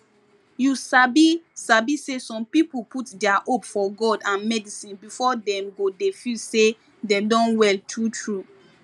you sabi sabi say some people put dia hope for god and medicine before dem go dey feel say dem don well true true